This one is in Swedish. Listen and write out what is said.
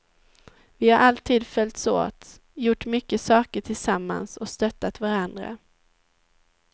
Vi har alltid följts åt, gjort mycket saker tillsammans och stöttat varandra.